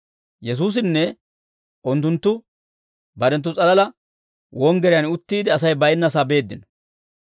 Yesuusinne unttunttu barenttu s'alalaa wonggiriyaan uttiide, Asay baynnasaa beeddino.